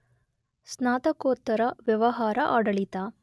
ಸ್ನಾತಕೋತ್ತರ ವ್ಯವಹಾರ ಆಡಳಿತ